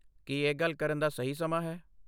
ਕੀ ਇਹ ਗੱਲ ਕਰਨ ਦਾ ਸਹੀ ਸਮਾਂ ਹੈ?